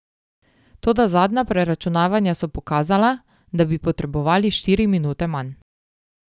Toda zadnja preračunavanja so pokazala, da bi potrebovali štiri minute manj.